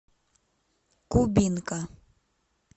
кубинка